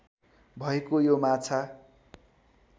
भएको यो माछा